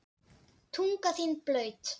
Tunga þín blaut.